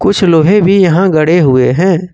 कुछ लोहे भी यहां गड़े हुए हैं।